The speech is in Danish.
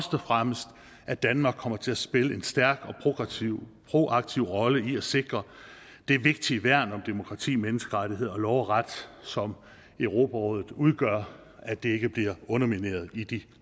og fremmest at danmark kommer til at spille en stærk og progressiv og proaktiv rolle i at sikre det vigtige værn om demokrati menneskerettigheder og lov og ret som europarådet udgør at det ikke bliver undermineret i de